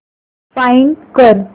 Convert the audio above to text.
find कर